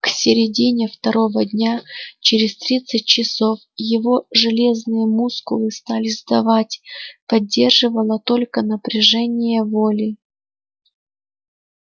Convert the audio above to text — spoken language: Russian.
к середине второго дня через тридцать часов его железные мускулы стали сдавать поддерживало только напряжение воли